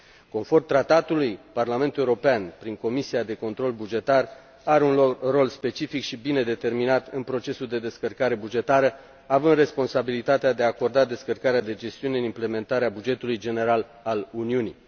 Conform tratatului, Parlamentul European, prin Comisia pentru control bugetar, are un rol specific și bine determinat în procesul de descărcare bugetară, având responsabilitatea de a acorda descărcarea de gestiune în executarea bugetului general al Uniunii.